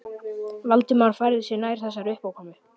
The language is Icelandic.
Valdimar færði sig nær þessari uppákomu.